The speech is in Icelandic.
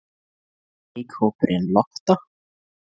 Leikhópurinn Lotta?